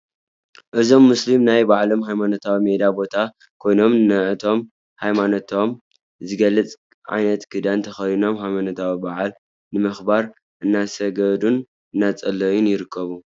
እዞም ሙስሊም ኣብ ናይ ባዕሎም ሃይነማኖታዊ ሜዳ ቦታ ኮይኖም ንዓቶም ንሃይማኖት ዝገልፅ ዓይነት ክዳን ተኸዲኖም ሃይማኖታዊ በዓሎም ንምኽባር እናሰገዱን እናፀለዩን ይርከቡ፡፡